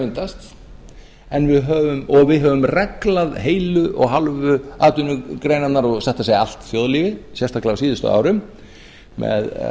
myndast og við höfum reglna heilu og hálfu atvinnugreinarnar og satt að segja allt þjóðlífið sérstaklega á síðustu árum með